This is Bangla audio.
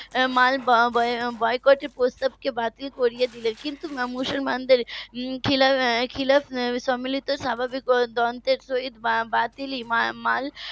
মাল বয়কটের প্রস্তাব কে বাতিল করে দিলেন কিন্তু মুসলমানদের . সম্মিলিত স্বাভাবিক . সহিত বাতিল মাল